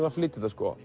að flytja þetta